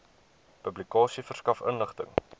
publikasie verskaf inligting